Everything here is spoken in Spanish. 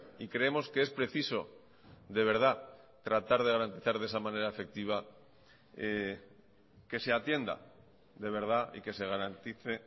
y creemos que es preciso de verdad tratar de garantizar de esa manera efectiva que se atienda de verdad y que se garantice